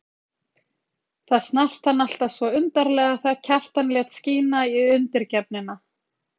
Það snart hann alltaf svo undarlega þegar Kjartan lét skína í undirgefnina.